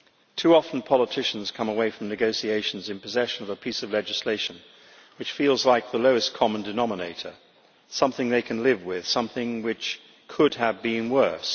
Too often politicians come away from negotiations in possession of a piece of legislation which feels like the lowest common denominator, something they can live with, something which could have been worse.